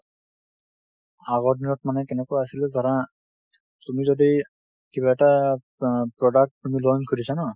এগৰ দিনত মানে কেনেকুৱা আছিলে, ধৰা তুমি যদি কিবা এটা আ product তুমি launch কৰিছা ন